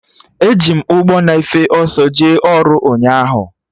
Eji m ụgbọ na-efe ọsọ jee ọrụ ụnyaahụ